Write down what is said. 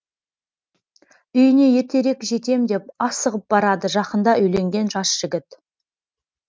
үйіне ертерек жетем деп асығып барады жақында үйленген жас жігіт